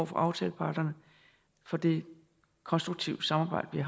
for aftaleparterne for det konstruktive samarbejde vi